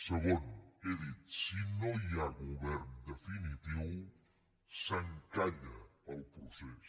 segon he dit si no hi ha govern definitiu s’encalla el procés